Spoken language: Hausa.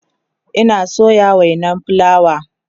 Ina soya wainan fulawa